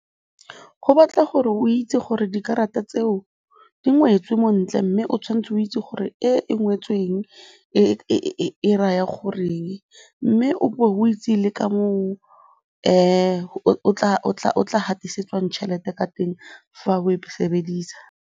Go batla gore o itse gore dikarata tseo di ngwetswe mo ntle mme o tshwanetse o itse gore e e ngwetswe eng, e raya goreng, mme o bo o itse le ka moo o tla gatisetswang tšhelete ka teng fa o e sebedisa.